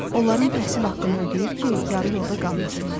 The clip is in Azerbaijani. Onların təhsil haqqını ödəyir ki, yarı yolda qalmasınlar.